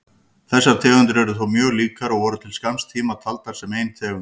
Þessar tegundir eru þó mjög líkar og voru til skamms tíma taldar sem ein tegund.